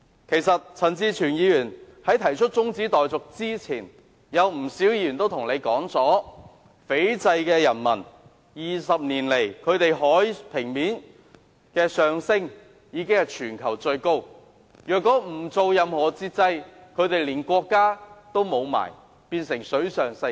其實陳志全議員提出中止待續議案前，不少議員均告訴大家 ，20 年來，斐濟的海平面上升速度是全球最快的，若不實施任何限制，斐濟的人民連國家也會失去，成為水上世界。